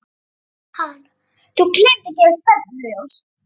Hann: Þú gleymdir að gefa stefnuljós.